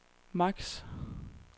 max